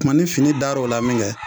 Kuma ni fini dar'o la min kɛ